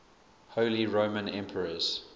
holy roman emperors